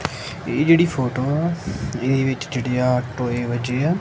ਇਹ ਜਿਹੜੀ ਫੋਟੋ ਇਹਦੇ ਵਿੱਚ ਜਿਹੜੇ ਆ ਟੋਏ ਵੱਜੇ ਆ।